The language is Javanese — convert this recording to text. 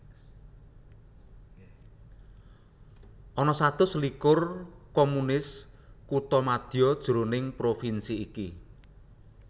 Ana satus selikur communes kuthamadya jroning provinsi iki